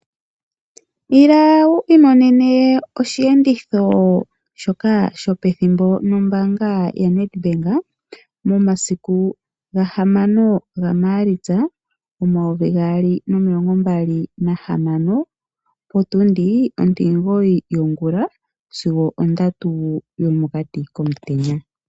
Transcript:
Ila wu iimonene oshiyenditho shoka shopethimbo nombaanga ya Nedbank momasiku ga 6 gaMaalitsa 2026 potundi 9 yongula sigo 3 yomokati komutenya.